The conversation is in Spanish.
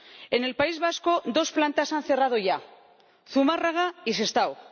En el País Vasco, dos plantas han cerrado ya Zumárraga y Sestao.